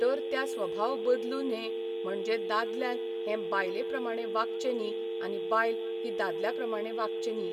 तर त्या स्वभाव बदलू न्हे म्हणजे दादल्यान हें बायले प्रमाणें वागचें न्ही आनी बायल ही दादल्या प्रमाणें वागचें न्ही.